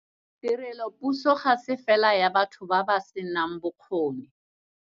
Tirelopuso ga se fela ya batho ba ba senang bokgoni.